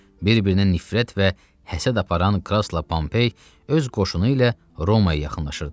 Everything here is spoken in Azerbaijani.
Bir-birindən nifrət və həsəd aparan Krasla Pompei öz qoşunu ilə Romaya yaxınlaşırdı.